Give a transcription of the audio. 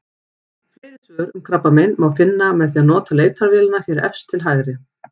Fleiri svör um krabbamein má finna með því að nota leitarvélina hér efst til hægri.